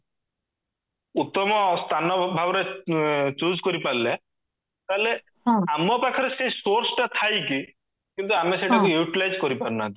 ଉତ୍ତମ ସ୍ଥାନ ଭାବରେ choose କରିପାରିଲେ ତାହେଲେ ଆମ ପାଖରେ ସେଇ source ତା ଥାଇକି କିନ୍ତୁ ଆମେ ସେଇଟାକୁ utilize କରିପାରୁନାହାନ୍ତି